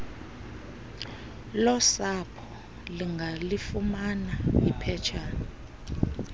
losapho lingalifumana iphetshan